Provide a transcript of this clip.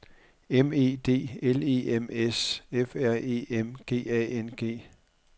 M E D L E M S F R E M G A N G